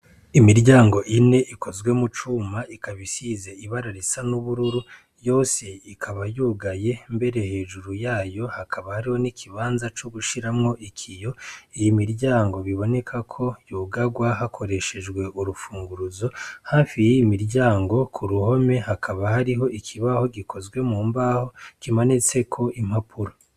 Imiryango ine ikozwe mucuma, ikaba isizwe ibara risa n'ubururu, yose ikaba yugaye mbere, hejuru yayo hakaba hariho n'ikibanza co gushiramwo ikiyo. Iyo miryango, biboneka ko yugarwa hakoreshejwe urwo rufunguruzo. Hafi y'iyo miryango k'uruhome, hakaba hariho ikibaho gikozwe mu mbaho, kimanitseko impapuro.